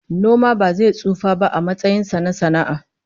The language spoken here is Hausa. Noma ba zai tsufa ba a matsayin sa na sana'a